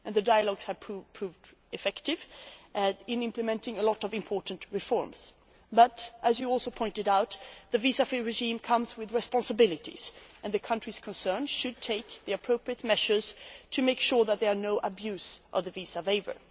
The dialogues have proved effective in implementing a lot of important reforms but, as was also pointed out, the visa free regime comes with responsibilities and the countries concerned should take the appropriate measures to make sure that there is no abuse of the visa waiver.